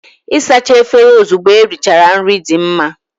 Ịsacha efere ozugbo erichara nri dị mma.